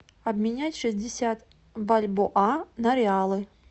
обменять шестьдесят бальбоа на реалы